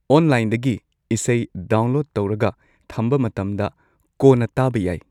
ꯑꯣꯟꯂꯥꯏꯟꯗꯒꯤ ꯏꯁꯩ ꯗꯥꯎꯟꯂꯣꯗ ꯇꯧꯔꯒ ꯊꯝꯕ ꯃꯇꯝꯗ ꯀꯣꯟꯅ ꯇꯥꯕ ꯌꯥꯏ꯫